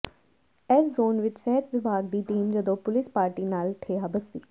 ਇਸ ਜ਼ੋਨ ਵਿਚ ਸਿਹਤ ਵਿਭਾਗ ਦੀ ਟੀਮ ਜਦੋਂ ਪੁਲਿਸ ਪਾਰਟੀ ਨਾਲ ਠੇਹਾ ਬਸਤੀ